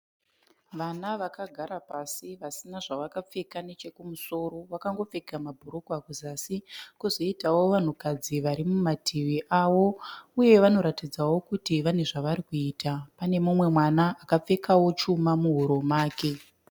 Vana vagara pasi vasina zvakapfeka nechekumusoro. Vakangopfeka mabhurugwa kuzasi. Kozoitawo vanhukadzi varimumativi avo. Uyewo vanoratidza kuti pane zvavarikuita. Pane mumwe mwana akapfekawo chuma muhuro make.